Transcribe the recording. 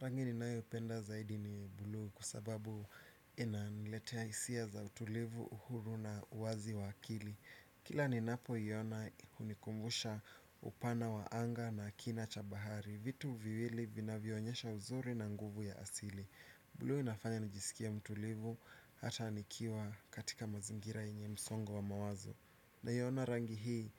Rangi ninayopenda zaidi ni bluu kwa sababu inaniletea hisia za utulivu uhuru na uwazi wa akili. Kila ninapoiona hunikumbusha upana wa anga na kina cha bahari vitu viwili vinavyoonyesha uzuri na nguvu ya asili. Bluu inafanya nijisikie mtulivu hata nikiwa katika mazingira yenye msongo wa mawazo. Naiona rangi hii